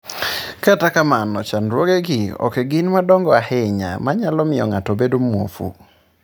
Kata kamano chandruogegi ok gin madongo ahinya ma nyalo miyo ng'ato obed mwofu.